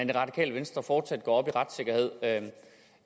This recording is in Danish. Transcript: det radikale venstre fortsat går op i retssikkerhed